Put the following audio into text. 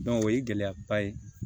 o ye gɛlɛyaba ye